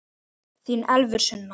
Þín Elfur Sunna.